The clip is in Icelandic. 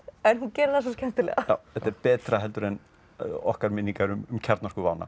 en hún gerir það svo skemmtilegra þetta er betra heldur en okkar minningar um